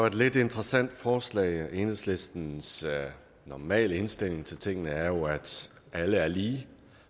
et lidt interessant forslag for enhedslistens normale indstilling til tingene er jo at alle er lige